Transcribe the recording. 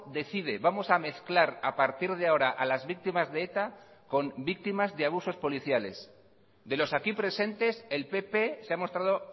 decide vamos a mezclar a partir de ahora a las víctimas de eta con víctimas de abusos policiales de los aquí presentes el pp se ha mostrado